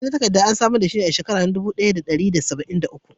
Kudi na takarka an samar da shi a shekaran na alip dubu daya da dari da sabain da uku.